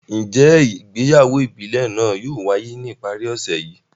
Njẹ ìgbéyàwó ìbílè naa yóò waye ni ipari ọsẹ yii?